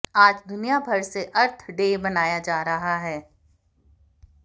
आज दुनिया भर में अर्थ डे मनाया जा रहा है